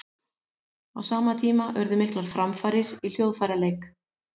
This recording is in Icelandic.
Á sama tíma urðu miklar framfarir í hljóðfæraleik.